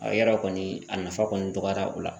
A yara kɔni a nafa kɔni dɔgɔyara o la